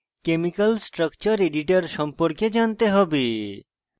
gchempaint chemical structure editor সম্পর্কে জানতে হবে